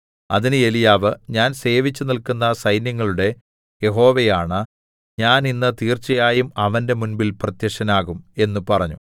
അതിന് ഏലീയാവ് ഞാൻ സേവിച്ചുനില്ക്കുന്ന സൈന്യങ്ങളുടെ യഹോവയാണ ഞാൻ ഇന്ന് തീർച്ചയായും അവന്റെ മുൻപിൽ പ്രത്യക്ഷനാകും എന്ന് പറഞ്ഞു